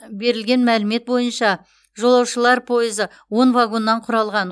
берілген мәлімет бойынша жолаушылар пойызы он вагоннан құралған